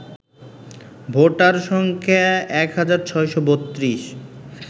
voter সংখ্যা ১৬৩২